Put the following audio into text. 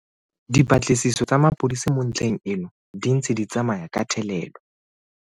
Dipatlisiso tsa mapodisi mo ntlheng eno di ntse di tsamaya ka thelelo.